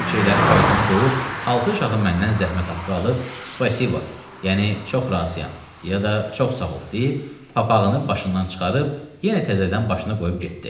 Nəsihiq şeyləri faytona qoyub, altı şahı məndən zəhmət haqqı alıb, "spasiba", yəni çox razıyam, ya da "çox sağ ol" deyib, papağını başından çıxarıb yenə təzədən başına qoyub getdi.